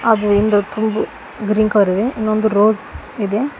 ಹಾಗೂ green colour ಇದೆ ಇನ್ನೊಂದು ರೋಸ್ ಇದೆ.